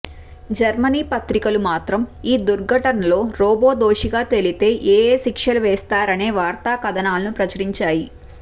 Germany పత్రికలు మాత్రం ఈ దుర్ఘనటలో రోబో దోషిగా తేలితే ఏయే శిక్షలు వేస్తారనే వార్తా కథనాలను ప్రచురించాయి